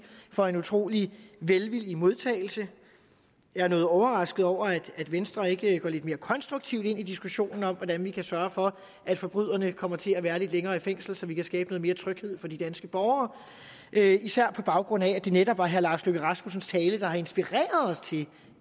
for en utrolig velvillig modtagelse jeg er noget overrasket over at venstre ikke går lidt mere konstruktivt ind i diskussionen om hvordan vi kan sørge for at forbryderne kommer til at være lidt længere i fængsel så vi kan skabe noget mere tryghed for de danske borgere det er jeg især på baggrund af at det netop er herre lars løkke rasmussens tale der har inspireret os til